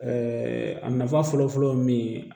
a nafa fɔlɔfɔlɔ ye min ye